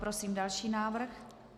Prosím další návrh.